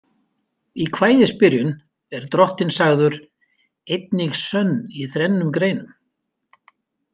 Í kvæðisbyrjun er drottinn sagður „eining sönn í þrennum greinum“ .